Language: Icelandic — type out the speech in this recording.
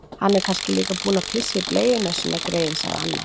Hann er kannski líka búinn að pissa í bleiuna sína, greyið, sagði annar.